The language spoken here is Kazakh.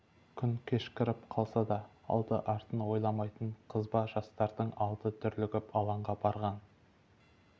күн кешкіріп қалса да алды-артын ойламайтын қызба жастардың алды дүрлігіп алаңға барған